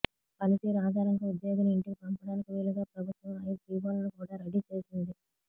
పనితీరు ఆధారంగా ఉద్యోగిని ఇంటికి పంపటానికి వీలుగా ప్రభుత్వం ఐదు జీవోలను కూడా రెడీ చేసింది